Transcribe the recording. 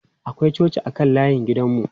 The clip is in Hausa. Akwai coci a kan layin gidan mu.